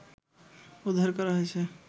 উদ্ধার করা হয়েছ